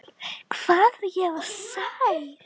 Hvað ég var sæl.